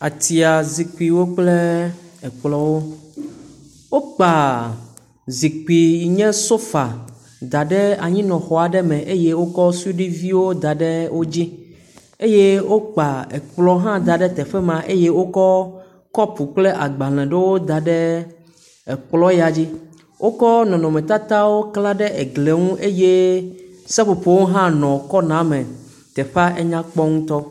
Atia zikpuiwo kple ekplɔ̃wo, wokpa zikpui yi nye sofa da ɖe anyinɔxɔ aɖe me eye wokɔ suɖuiviwo da ɖe wo dzi. Eye wokpa ekplɔ̃ hã da ɖe teƒe ma eye wokɔ kɔpu kple agbalẽ ɖewo da ɖe ekplɔ̃ ya dzi. Wokɔ nɔnɔmetatawo klã ɖe eglie ŋu eye seƒoƒowo hã nɔ kɔnaa me. Teƒa enya kpɔ ŋutɔ.